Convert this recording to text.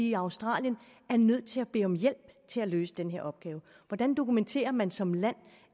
i australien var nødt til at bede om hjælp til at løse den her opgave hvordan dokumenterer man som land